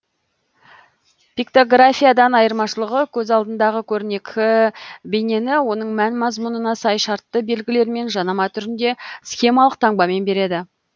пиктографиядан айырмашылығы көз алдыңдағы көрнекі бейнені оның мән мазмұнына сай шартты белгілермен жанама түрінде схемалық таңбамен береді